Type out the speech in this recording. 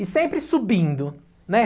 E sempre subindo, né?